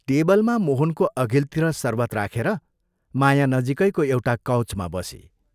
टेबलमा मोहनको अघिल्तिर शरबत राखेर माया नजीकैको एउटा कौचमा बसी।